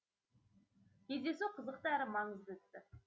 кездесу қызықты әрі маңызды өтті